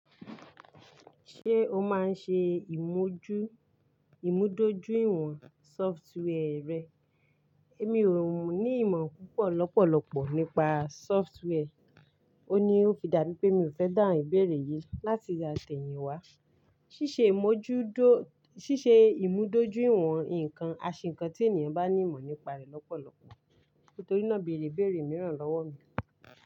Ṣé o máa ń ṣe ìmúdójúìwọ̀n sọfitiwea rẹ? Èmi ò ní ìmọ̀ púpọ̀ lọ́pọ̀lọpọ̀ nípa sọfitiwea, ó ní ó fi dàbí pé mi ò fẹ́ dáhùn ìbéèrè yìí láti yá tẹ̀yìn wá. Ṣíṣe ìmúdójúìwọ̀n nǹkan àṣe nnkan tí ènìyàn bá ní ìmọ̀ nípa rẹ̀ lọ́pọ̀lọpọ̀, nítorí náà bèrè ibeèrè mìíràn lọ́wọ́ mi.